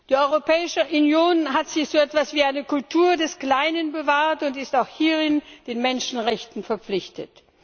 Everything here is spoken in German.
Die Europäische Union hat sich so etwas wie eine Kultur des Kleinen bewahrt und ist auch hierin den Menschenrechten verpflichtet.